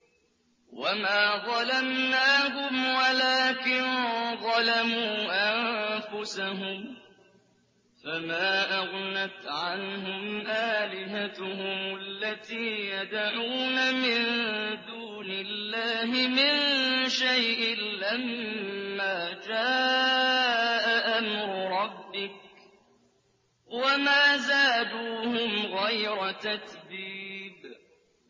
وَمَا ظَلَمْنَاهُمْ وَلَٰكِن ظَلَمُوا أَنفُسَهُمْ ۖ فَمَا أَغْنَتْ عَنْهُمْ آلِهَتُهُمُ الَّتِي يَدْعُونَ مِن دُونِ اللَّهِ مِن شَيْءٍ لَّمَّا جَاءَ أَمْرُ رَبِّكَ ۖ وَمَا زَادُوهُمْ غَيْرَ تَتْبِيبٍ